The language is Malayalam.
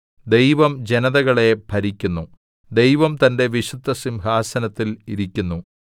ദൈവം ജനതകളെ ഭരിക്കുന്നു ദൈവം തന്റെ വിശുദ്ധസിംഹാസനത്തിൽ ഇരിക്കുന്നു